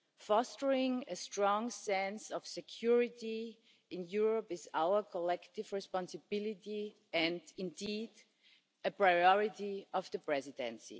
Fostering a strong sense of security in Europe is our collective responsibility and, indeed, a priority of the Presidency.